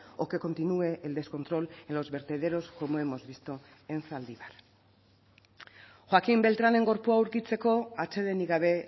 o que continúe el descontrol en los vertederos como hemos visto en zaldibar joaquin beltranen gorpua aurkitzeko atsedenik gabe